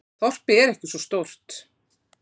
Þorpið er ekki svo stórt.